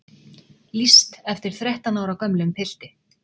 Lýst eftir þrettán ára gömlum pilti